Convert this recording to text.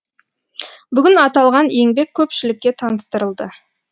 бүгін аталған еңбек көпшілікке таныстырылды